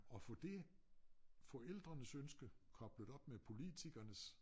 At få det forældrenes ønske koblet op med politikernes